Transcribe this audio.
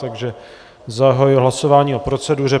Takže zahajuji hlasování o proceduře.